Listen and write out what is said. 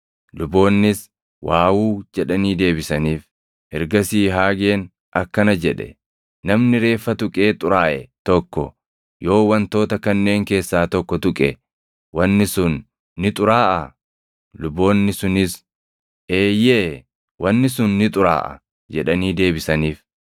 Ergasii Haageen akkana jedhe; “Namni reeffa tuqee xuraaʼe tokko yoo wantoota kanneen keessaa tokko tuqe wanni sun ni xuraaʼaa?” Luboonni sunis, “Eeyyee, wanni sun ni xuraaʼa” jedhanii deebisaniif.